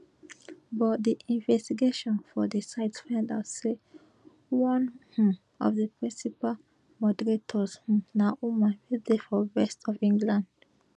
but di investigation for di site find out say one um of di principal moderators um na woman wey dey for west of england